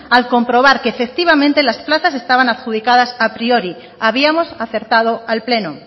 al comprobar que efectivamente las plazas estaban adjudicadas a priori habíamos acertado al pleno